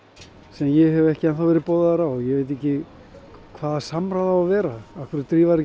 sem ég hef ekki enn þá verið boðaður á ég veit ekki hvaða samráð á að vera af hverju drífa þeir